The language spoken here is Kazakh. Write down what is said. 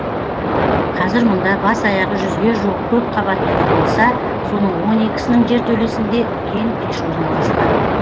қазір мұнда бас аяғы жүзге жуық көпқабатты үй болса соның он екісінің жертөлесінде үлкен пеш орналасқан